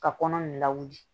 Ka kɔnɔ in lawuli